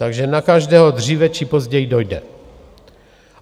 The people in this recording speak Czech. Takže na každého dříve či později dojde.